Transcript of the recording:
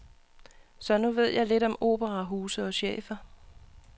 Så nu ved jeg lidt om operahuse og chefer.